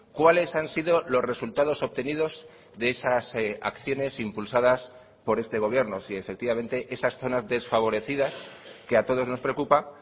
cuáles han sido los resultados obtenidos de esas acciones impulsadas por este gobierno si efectivamente esas zonas desfavorecidas que a todos nos preocupa